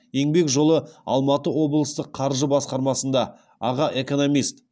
еңбек жолы алматы облыстық қаржы басқармасында аға экономист